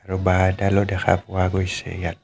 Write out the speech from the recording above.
আৰু বাঁহ এডালো দেখা পোৱা গৈছে ইয়াত.